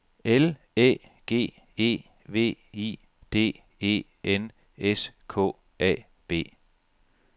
L Æ G E V I D E N S K A B